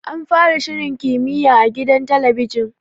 An fara shirin kimiyya a gidan talabijin.